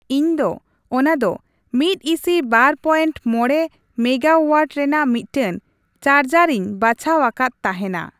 ᱤᱧ ᱫᱚ ᱚᱱᱟ ᱫᱚ ᱢᱤᱫ ᱤᱥᱤ ᱵᱟᱨ ᱯᱚᱭᱮᱱᱴ ᱢᱚᱬᱮ ᱢᱮᱜᱟᱼᱳᱣᱟᱴ ᱨᱮᱱᱟᱜ ᱢᱤᱫᱴᱮᱱ ᱪᱟᱨᱡᱟᱨ ᱤᱧ ᱵᱟᱪᱷᱟᱣ ᱟᱠᱟᱫ ᱛᱟᱦᱮᱱᱟ ᱾